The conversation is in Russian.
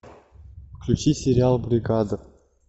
включи сериал бригада